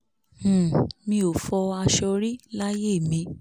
um mi ò fọ aṣọ rí láyé mi